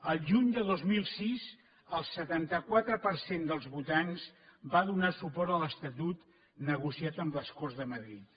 el juny de dos mil sis el setanta quatre per cent dels votants va donar suport a l’estatut negociat amb les corts de madrid